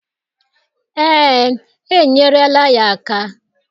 Ee, enyerela ya aka